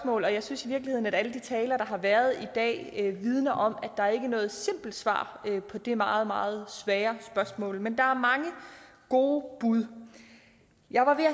og jeg synes i virkeligheden at alle de taler der har været i dag vidner om at der ikke er noget simpelt svar på de meget meget svære spørgsmål men der er mange gode bud jeg har